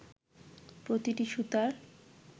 প্রতিটি সুতার